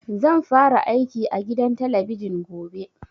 Zan fara aiki a gidan talabijin gobe